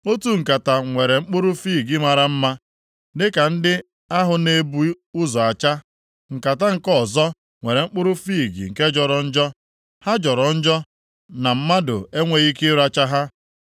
Otu nkata nwere mkpụrụ fiig mara mma, dịka ndị ahụ na-ebu ụzọ acha, nkata nke ọzọ nwere mkpụrụ fiig nke jọrọ njọ, ha jọrọ njọ na mmadụ enweghị ike ịracha ha.